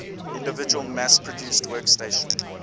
individual mass produced workstation